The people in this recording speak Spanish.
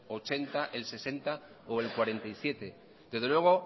ochenta el sesenta o el cuarenta y siete desde luego